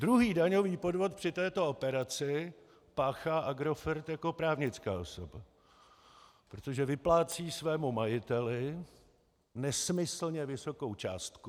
Druhý daňový podvod při této operaci páchá Agrofert jako právnická osoba, protože vyplácí svému majiteli nesmyslně vysokou částku.